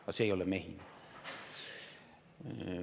Aga see ei ole mehine.